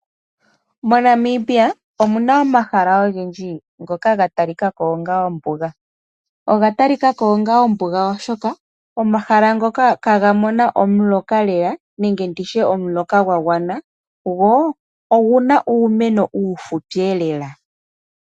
MoNamibia omuna omahala ogendji ngoka ga talikako onga ombuga, oga talikako onga ombuga oshoka omahala ngoka ihaga mono omuloka lela nenge nditye omuloka gwa gwana gwo oguna uumeno uufupi lela.